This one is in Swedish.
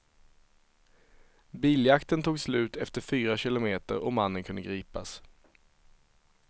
Biljakten tog slut efter fyra kilometer och mannen kunde gripas.